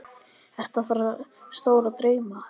Ertu með stóra drauma?